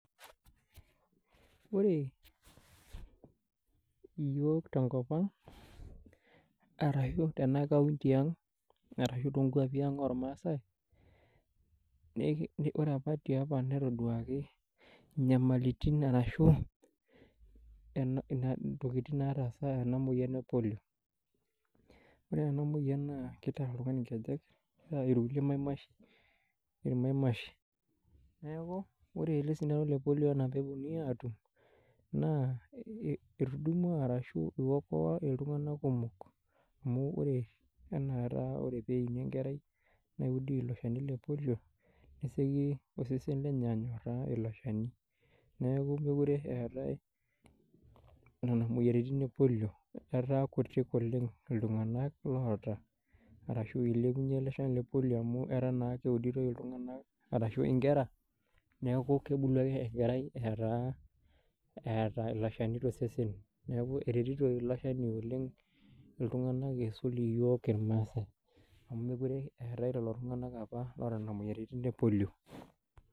Wore iyiok tenkop ang', arashu tena counti ang', arashu toonkoapin ang' olmaasae. Wore apa tiapa netaduaki inyamalitin arashu, intokitin naataasa ena moyian e polio. Wore ena moyian naa kitarr oltungani inkejek, nitaa irkulie irmamaishi. Neeku wore ele sindano le polio enaa pee eponui aatum, naa etudumua arashu iokoa iltunganak kumok. Amu wore enaata wore pee eini enkerai, neudi ilo shani le polio, nesioki osesen lenye anyorraa ilo shani. Neeku mekure eaatae niana moyiaritin e polio, etaa kutik oleng' iltunganak loata, arashu ilepunyie ele shani le polio amu etaa naa keuditoi iltunganak arashu inkera, neeku kebulu ake enkerai eata ilo shani tosesen. Neeku eretito ilo shani oleng' iltunganak iisul iyiok irmaasae. Amu mekure eetae lelo tunganak apa oata niana moyiaritin epolio.